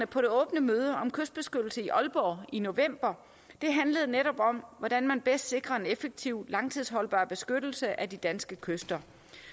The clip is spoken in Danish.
på det åbne møde om kystbeskyttelse i aalborg i november handlede netop om hvordan man bedst sikrer en effektiv og langtidsholdbar beskyttelse af de danske kyster